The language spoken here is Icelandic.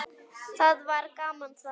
Það var gaman þá.